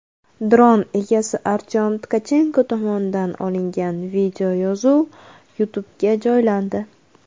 Dron egasi Artyom Tkachenko tomonidan olingan videoyozuv YouTube’ga joylandi.